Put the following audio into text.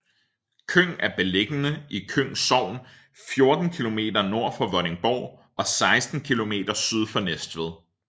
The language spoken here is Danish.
Køng er beliggende i Køng Sogn 14 kilometer nord for Vordingborg og 16 kilometer syd for Næstved